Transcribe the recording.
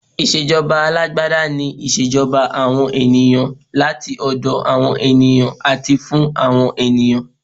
Ìṣèjọba alágbádá ni ìṣèjọba àwọn ènìyàn, láti ọ̀dọ̀ awon ènìyàn àti fún àwọn ènìyàn.